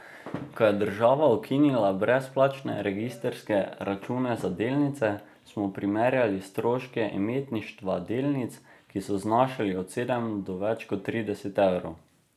Ko je država ukinila brezplačne registrske račune za delnice, smo primerjali stroške imetništva delnic, ki so znašali od sedem do več kot trideset evrov.